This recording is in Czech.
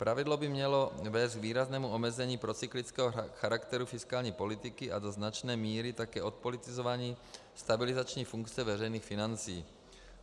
Pravidlo by mělo vést k výraznému omezení procyklického charakteru fiskální politiky a do značné míry také odpolitizování stabilizační funkce veřejných financí.